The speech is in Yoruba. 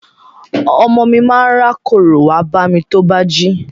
Ọmọ mi ma rákórò wá bámi tó bá jí.